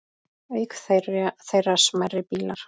Auk þeirra smærri bílar.